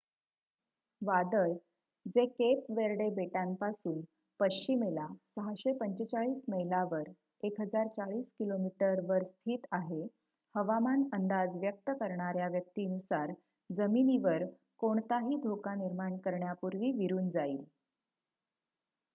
वादळ जे Cape Verde बेटांपासून पश्चिमेला 645 मैलावर 1040 किमी वर स्थित आहे हवामान अंदाज व्यक्त करणाऱ्या व्यक्ती नुसार जमिनीवर कोणताही धोका निर्माण करण्यापूर्वी विरून जाईल